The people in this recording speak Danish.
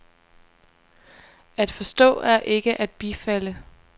At forstå er ikke at bifalde.